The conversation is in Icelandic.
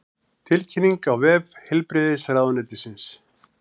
Tilkynningin á vef heilbrigðisráðuneytisins